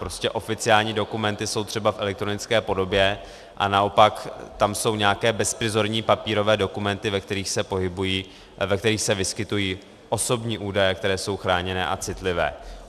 Prostě oficiální dokumenty jsou třeba v elektronické podobě a naopak tam jsou nějaké bezprizorní papírové dokumenty, ve kterých se vyskytují osobní údaje, které jsou chráněné a citlivé.